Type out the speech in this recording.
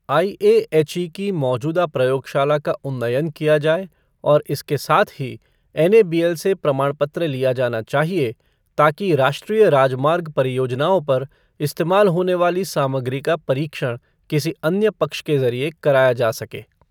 IAHE की मौजूदा प्रयोगशाला का उन्नयन किया जाए और इसके साथ ही एनएबीएल से प्रमाण पत्र लिया जाना चाहिए, ताकि राष्ट्रीय राजमार्ग परियोजनाओं पर इस्तेमाल होने वाली सामग्री का परीक्षण किसी अन्य पक्ष के जरिए कराया जा सके।